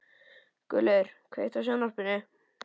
Guðlaugur, kveiktu á sjónvarpinu.